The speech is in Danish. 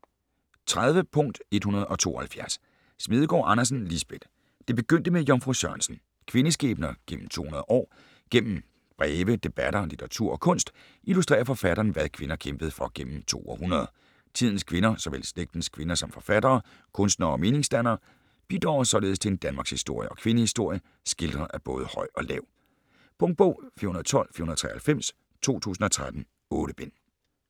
30.172 Smedegaard Andersen, Lisbeth: Det begyndte med Jomfru Sørensen: kvindeskæbner gennem 200 år Gennem breve, debatter, litteratur og kunst, illustrerer forfatteren hvad kvinder kæmpede for gennem to århundreder. Tidens kvinder, såvel slægtens kvinder som forfattere, kunstnere og meningsdannere, bidrager således til en danmarkshistorie og kvindehistorie skildret af både høj og lav. Punktbog 412493 2013. 8 bind.